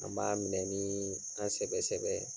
An b'a minɛ ni an sɛbɛ sɛbɛ.